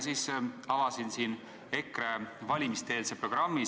Siis avasin EKRE valimiste-eelse programmi.